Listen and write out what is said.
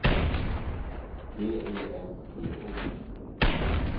T E M P O